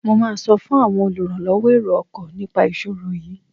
Mo máa sọ fún àwọn olùrànlọwọ èrò ọkọ̀ nipa ìṣòro yiìí.